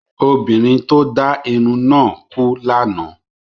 Obìnrin tí ó dá irun náà kú lánàá